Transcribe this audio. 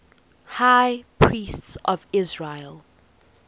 high priests of israel